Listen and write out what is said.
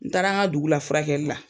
N taara an ka dugu la furakɛli la.